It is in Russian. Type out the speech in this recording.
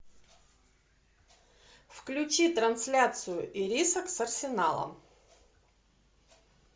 включи трансляцию ирисок с арсеналом